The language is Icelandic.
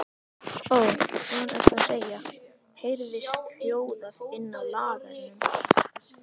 Ó, hvað ertu að segja, heyrðist hljóðað inni á lagernum.